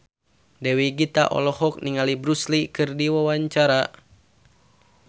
Dewi Gita olohok ningali Bruce Lee keur diwawancara